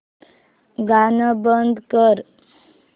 गाणं बंद कर